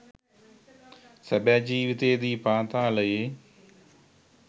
සැබෑ ජීවිතයේදී පාතාලයේ